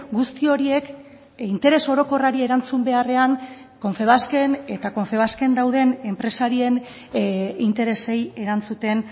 guzti horiek interes orokorrari erantzun beharrean confebasken eta confebasken dauden enpresarien interesei erantzuten